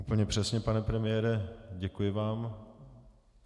Úplně přesně, pane premiére, děkuji vám.